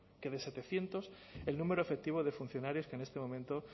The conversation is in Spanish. que de setecientos el número efectivo de funcionarios que en este momento